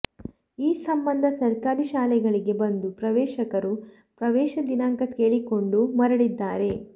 ಈ ಸಂಬಂಧ ಸರ್ಕಾರಿ ಶಾಲೆಗಳಿಗೆ ಬಂದು ಪೋಷಕರು ಪ್ರವೇಶ ದಿನಾಂಕ ಕೇಳಿಕೊಂಡು ಮರಳಿದ್ದಾರೆ